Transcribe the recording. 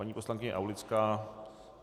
Paní poslankyně Aulická?